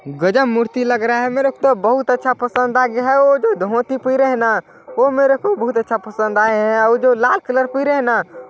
गजब मूर्ति लग रहा है मेरे को तो बहुत अच्छा पसंद आ गया है वो जो धोती पिहरे ना वो मेरे को बहुत अच्छा पसंद आये हैं और जो लाल कलर पिहरे है ना--